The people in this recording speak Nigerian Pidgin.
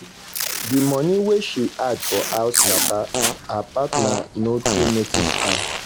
the money wey she dey add for house matter her partner no too notice am.